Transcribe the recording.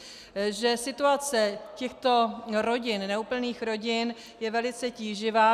Že situace těchto rodin, neúplných rodin, je velice tíživá.